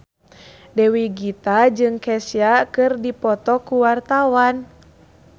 Dewi Gita jeung Kesha keur dipoto ku wartawan